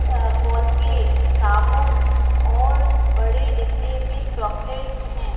Colgate साबुन और बड़े डिब्बे में चॉकलेटस है।